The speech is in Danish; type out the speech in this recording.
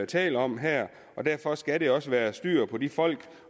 taler om her og derfor skal der også være styr på de folk